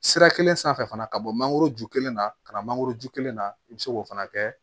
Sira kelen sanfɛ fana ka bɔ mangoro ju kelen na ka na mangoro ju kelen na i bɛ se k'o fana kɛ